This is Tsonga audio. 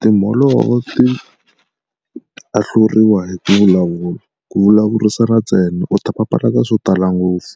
Timholovo ti ahluriwa hi ku vulavula. Ku vulavurisana ntsena u ta papalata swo tala ngopfu.